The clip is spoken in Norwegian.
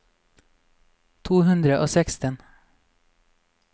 to hundre og seksten